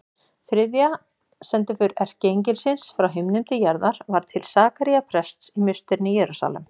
Þriðja sendiför erkiengilsins frá himnum til jarðar var til Sakaría prests í musterinu í Jerúsalem.